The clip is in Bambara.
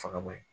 Faga bɔ ye